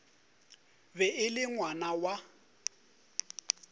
be e le ngwana wa